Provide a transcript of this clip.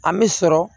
An bɛ sɔrɔ